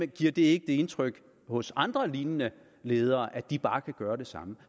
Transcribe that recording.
give det indtryk hos andre lignende ledere at de bare kan gøre det samme